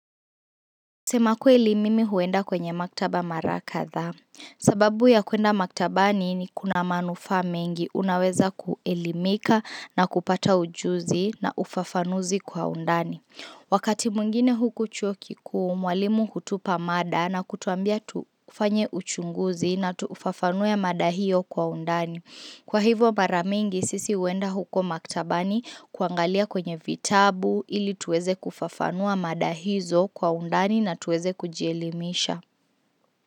Sema kweli mimi huenda kwenye maktaba mara kadhaa. Sababu ya kwenda maktabani ni kuna manufaa mengi unaweza kuelimika na kupata ujuzi na ufafanuzi kwa undani. Wakati mwingine huku chuo kikuu, mwalimu hutupa mada na kutuambia tufanye uchunguzi na tuufafanue mada hio kwa undani. Kwa hivyo mara mingi sisi huenda huko maktabani kuangalia kwenye vitabu ili tuweze kufafanua mada hizo kwa undani na tuweze kujielimisha.